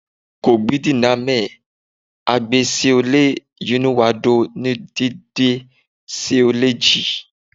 Kọgbidinamẹ hagbẹ ṣie lẹ yinuwado nudide ṣie lẹ ji